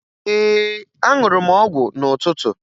Ee, aṅụrụ m ọgwụ n'ụtụtụ